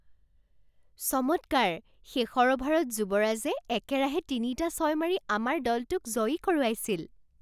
চমৎকাৰ! শেষৰ অভাৰত যুৱৰাজে একেৰাহে তিনিটা ছয় মাৰি আমাৰ দলটোক জয়ী কৰোৱাইছিল।